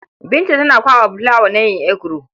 Binta tana kwaɓa fulawa na yin eguro.